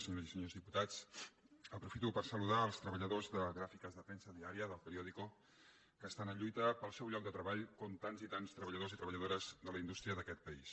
senyores i senyors diputats aprofito per saludar els treballadors de gràfiques de premsa diària d’el periódico perquè estan en lluita per al seu lloc de treball com tants i tants treballadors i treballadores de la indústria d’aquest país